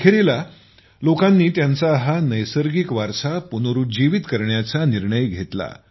अखेरीस लोकांनी त्यांचा हा नैसर्गिक वारसा पुनरुज्जीवित करण्याचा निर्णय घेतला